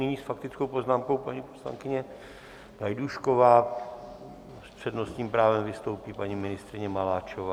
Nyní s faktickou poznámkou paní poslankyně Gajdůšková, s přednostním právem vystoupí paní ministryně Maláčová.